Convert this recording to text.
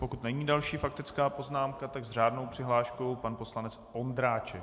Pokud není další faktická poznámka, tak s řádnou přihláškou pan poslanec Ondráček.